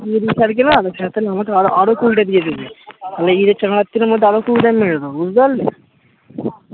sir তাহলে আমাকে আরো আরো দ্বারা কুড়িটা আমি মেরে দেব বুঝতে পারলে